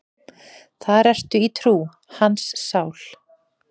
Þar ertu í trú, hans sál.